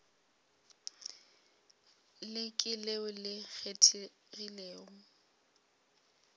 le ke leo le kgethegilego